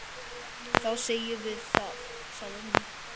Þá segjum við það, sagði hún.